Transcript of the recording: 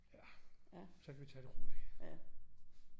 Ja så kan vi tage det roligt